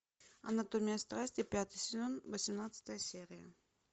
анатомия страсти пятый сезон восемнадцатая серия